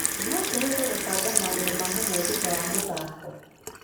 No tũhote gũbanga maũndũ ma hamwe thutha wa mũthako.